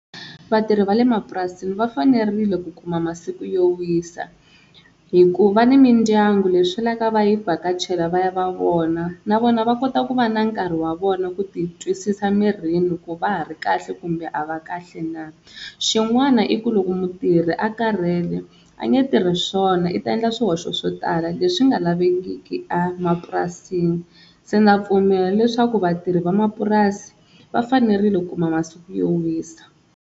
Vatirhi va le mapurasini va fanerile ku kuma masiku yo wisa hi ku va ni mindyangu leswi lavaka va yi vhakachela vaya va vona na vona va kota ku va na nkarhi wa vona ku titwisisa mirini ku va ha ri kahle kumbe a va kahle na. Xin'wana i ku loko mutirhi a karhele a nge tirhi swona i ta endla swihoxo swo tala leswi nga lavekiki emapurasini se ndza pfumela leswaku vatirhi va mapurasi va fanerile ku kuma masiku yo wisa.